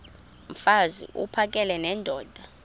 mfaz uphakele nendoda